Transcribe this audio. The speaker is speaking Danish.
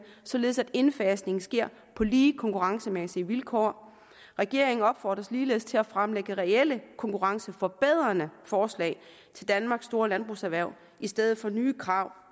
således at indfasningen sker på lige konkurrencemæssige vilkår regeringen opfordres ligeledes til at fremlægge reelle konkurrenceforbedrende forslag til danmarks store landbrugserhverv i stedet for nye krav